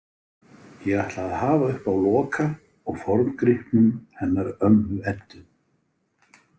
Ég ætla að hafa uppi á Loka og forngripnum hennar ömmu Eddu.